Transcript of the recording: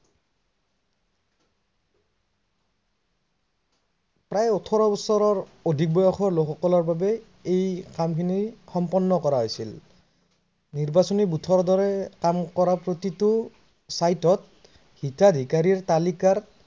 প্ৰায় ঊঠৰ বছৰ বয়সৰ অধিক লোক সকলৰ বাবে এই কাম খিনি সম্পন্ন কৰা হৈছিল। নিৰ্বাচনি ভোটৰ দৰে কাম কৰা প্ৰতিটো ত হিতাধিকাৰিৰ তালিকা